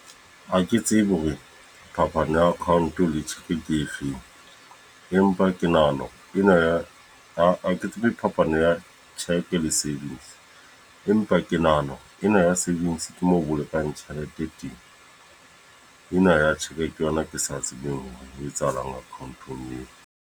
Ha ke tsebe hore phapano ya account le tshepe ke efeng. Empa ke nahana ena ya, ha ke tsebe phapano ya le savings. Empa ke nahana ena ya savings ke mo bolokang tjhelete teng. Ena ya check ke yona ke sa tsebeng ho etsahalang account-ong eo.